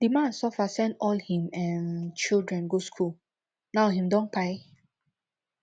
di man suffer send all him um children go skool now him don kpai